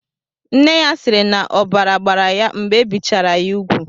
Nne ya siiri na ọbara gbara ya mgbe ebichara ya ugwu.